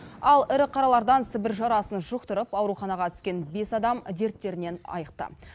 ал ірі қаралардан сібір жарасын жұқтырып ауруханаға түскен бес адам дерттерінен айықты